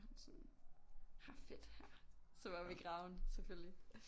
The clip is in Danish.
Så var han sådan her er fedt her så var vi i Graven selvfølgelig